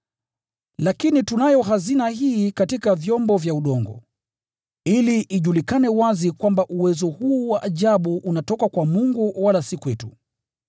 Lakini tunayo hazina hii katika vyombo vya udongo, ili ijulikane wazi kwamba uwezo huu wa ajabu unatoka kwa Mungu wala si kwetu.